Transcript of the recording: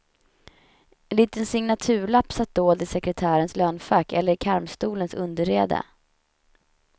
En liten signaturlapp satt dold i sekretärens lönnfack eller i karmstolens underrede.